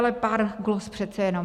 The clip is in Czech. Ale pár glos přece jenom.